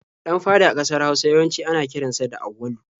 Ɗan fari a ƙasar Hausa yawanci ana kiran sa da Auwalu.